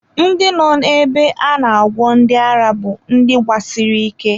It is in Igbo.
Ndị nọ ebe a na-agwọ ndi ara bú ndị gbasiri ike